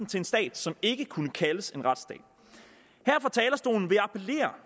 til en stat som ikke kunne kaldes en retsstat her